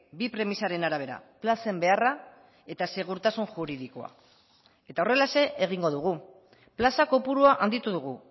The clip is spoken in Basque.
bi premisaren arabera plazen beharra eta segurtasun juridikoa eta horrelaxe egingo dugu plaza kopurua handitu dugu